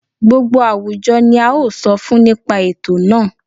Gbogbo àwùjọ ni a ó sọ fún nípa ètò náà